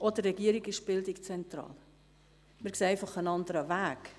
Auch für die Regierung ist Bildung zentral, nur sehen wir einen anderen Weg.